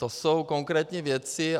To jsou konkrétní věci.